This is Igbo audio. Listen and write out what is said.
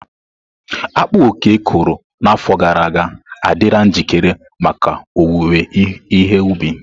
Akpu Oke kụrụ n’afọ gara aga adịla njikere maka owuwe ihe ubi.